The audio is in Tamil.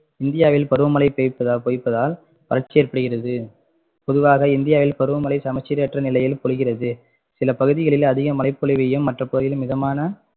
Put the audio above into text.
இந்தியாவில் பருவமழை பெய்~ பொய்ப்பதால் வறட்சி ஏற்படுகிறது பொதுவாக இந்தியாவில் பருவ மழை சமச்சீரற்ற நிலையில் பொழிகிறது சில பகுதிகளில் அதிக மழை பொழிவையும் மற்ற பகுதிகளில் மிதமான